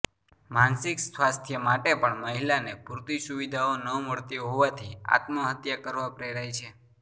માનસિક સ્વાસ્થ્ય માટે પણ મહિલાને પૂરતી સુવિધાઓ ન મળતી હોવાથી આત્મહત્યા કરવા પ્રેરાય છે